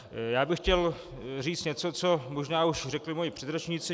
Já bych chtěl říct něco, co možná už řekli moji předřečníci.